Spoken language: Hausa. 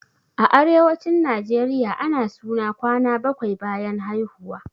A arewacin najeriya ana suna kwana bakwai bayan haihuwa